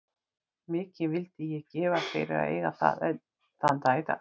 Mikið vildi ég gefa fyrir að eiga það enn þann dag í dag.